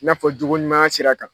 I n'a fɔ jogoɲumanya sira kan